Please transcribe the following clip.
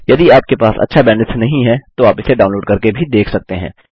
यदि आपके पास अच्छा बैंडविड्थ नहीं है तो आप इसे डाउनलोड़ करके भी देख सकते हैं